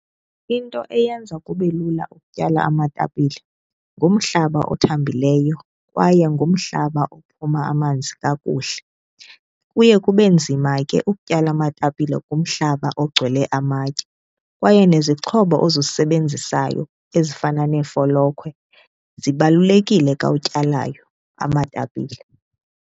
Into eyenza kube lula ukutyala amatapile ngumhlaba othambileyo kwaye ngumhlaba ophuma amanzi kakuhle. Kuye kub enzima ke ukutyala amatapile kumhlaba ogcwele amatye kwaye nezixhobo ozisebenzisayo ezifana neefolokhwe zibalulekile xa utyalayo amatapile.